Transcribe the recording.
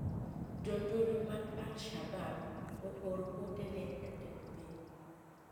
Jonjore mag alshabab ooro ote ne jatend piny